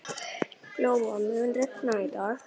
Glóa, mun rigna í dag?